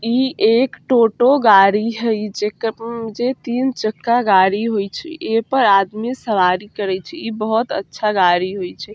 ई एक टोटो गाड़ी हई जेकर उम जे तीन चक्का गाड़ी होइ छई। ए पर आदमी सवारी करइ छई। ई बहुत अच्छा गाड़ी होइ छई।